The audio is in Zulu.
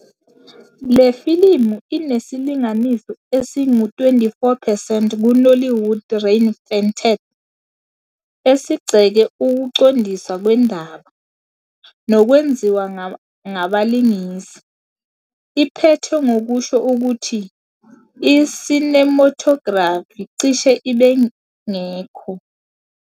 Le filimu inesilinganiso esingu-24 percent kuNollywood Reinvented, esigxeke ukuqondiswa kwendaba, nokwenziwa ngabalingisi. Iphethe ngokusho ukuthi, "I-Cinematography cishe ibingekho!